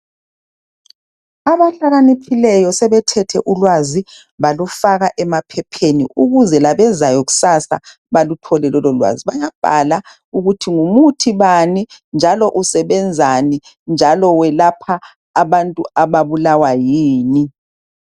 Abahlakaniphileyo sebethethe ulwazi balufaka emaphepheni ukuze labezayo kusasa baluthole lololwazi. Bayabhala ukuthi ngumuthi bani njalo usebenzani njalo welapha abantu ababulawa yini.